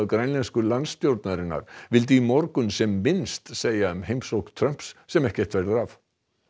grænlensku landstjórnarinnar vildi í morgun sem minnst segja um heimsókn Trumps sem ekkert verður af